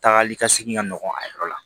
Tagali ka segin ka nɔgɔn a yɔrɔ la